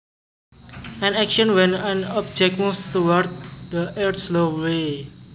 An action when an object moves towards the earth slowly